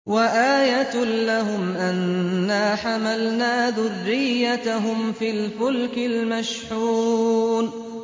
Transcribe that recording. وَآيَةٌ لَّهُمْ أَنَّا حَمَلْنَا ذُرِّيَّتَهُمْ فِي الْفُلْكِ الْمَشْحُونِ